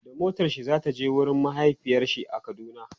da motarshi Zai je wurin mahaifiyarshi a kaduna